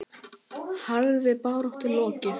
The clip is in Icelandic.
Harðri baráttu lokið.